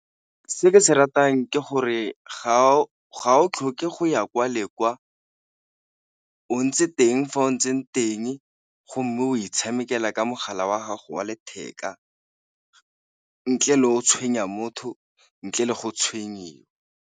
Se ke se ratang ke gore ga o tlhoke go ya kwa le kwa o ntse teng fa o o ntseng teng, go mme o itshamekela ka mogala wa gago wa letheka ntle le o tshwenya motho, ntle le go tshwenyiwa.